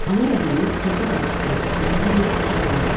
Ana Rəhimin körpə bacısını şala bürüyüb qucağına aldı.